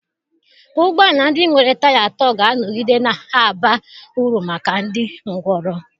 Ụgbọ ala ndị nwere taya atọ ga-anọgide na-aba uru maka ndị ngwọrọ